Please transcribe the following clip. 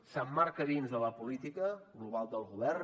s’emmarca dins de la política global del govern